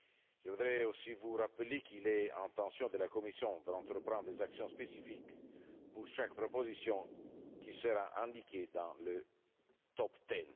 Je voudrais aussi vous rappeler qu'il est dans l'intention de la Commission d'entreprendre des actions spécifiques pour chaque proposition qui sera indiquée dans le top ten